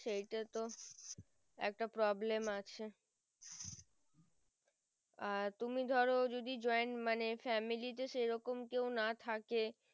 আর তুমি ধরো যদি joint মানে family তে সেরকম না থাকে